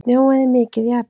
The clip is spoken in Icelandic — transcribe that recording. Snjóaði mikið í apríl?